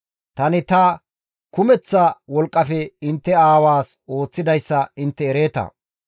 Tani ta kumeththa wolqqafe intte aawaas ooththidayssa intte ereeta.